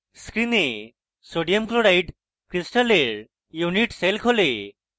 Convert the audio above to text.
screen sodium chloride crystal unit cell খোলে